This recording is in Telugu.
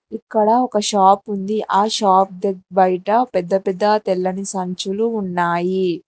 ఇక్కడ ఒక షాప్ ఉంది ఆ షాప్ దగ్ బయట పెద్ద పెద్ద తెల్లని సంచులు ఉన్నాయి.